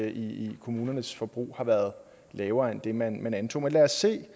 i kommunernes forbrug har været lavere end det man antog men lad os se